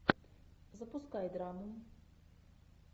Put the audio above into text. запускай драму